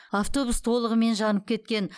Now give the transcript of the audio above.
автобус толығымен жанып кеткен